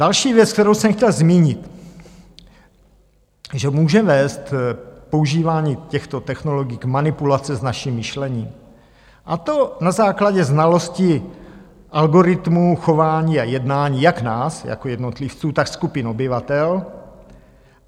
Další věc, kterou jsem chtěl zmínit, že může vést používání těchto technologií k manipulaci s naším myšlením, a to na základě znalosti algoritmu chování a jednání, jak nás jako jednotlivců, tak skupin obyvatel.